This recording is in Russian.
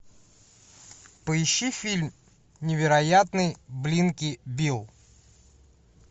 поищи фильм невероятный блинки билл